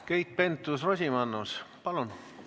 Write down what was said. Keit Pentus-Rosimannus, palun!